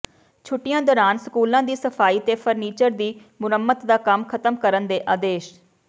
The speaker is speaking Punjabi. ਛੁੱਟੀਆਂ ਦੌਰਾਨ ਸਕੂਲਾਂ ਦੀ ਸਫਾਈ ਤੇ ਫਰਨੀਚਰ ਦੀ ਮੁਰੰਮਤ ਦਾ ਕੰਮ ਖ਼ਤਮ ਕਰਨ ਦੇ ਆਦੇਸ਼